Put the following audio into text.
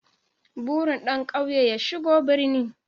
Burin ɗan ƙauye ya shigo birni